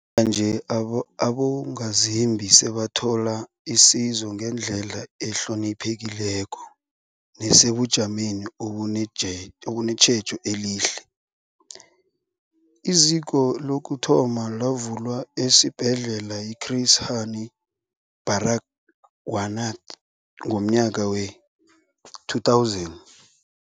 Njenganje, abo abongazimbi sebathola isizo ngendlela ehloniphekileko nesebujameni obunetjhe obunetjhejo elihle. IZiko lokuthoma lavulwa esiBhedlela i-Chris Hani Baragwanath ngomnyaka we-2000.